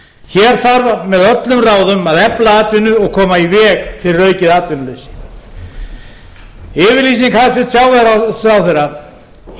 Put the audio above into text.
hér þarf með öllum ráðum að efla atvinnu og koma í veg fyrir aukið atvinnuleysi yfirlýsing hæstvirtur sjávarútvegsráðherra í